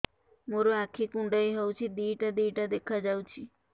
ମୋର ଆଖି କୁଣ୍ଡାଇ ହଉଛି ଦିଇଟା ଦିଇଟା ଦେଖା ଯାଉଛି